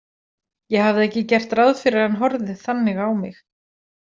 Ég hafði ekki gert ráð fyrir að hann horfði þannig á mig.